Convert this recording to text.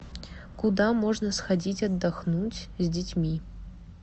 куда можно сходить отдохнуть с детьми